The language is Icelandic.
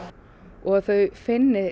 og að þau finni